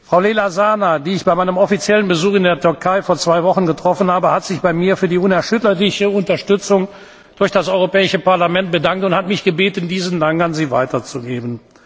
Frau Leyla Zana, die ich bei meinem offiziellen Besuch in der Türkei vor zwei Wochen getroffen habe, hat sich bei mir für die unerschütterliche Unterstützung durch das Europäische Parlament bedankt und hat mich gebeten, diesen Dank an Sie weiterzugeben.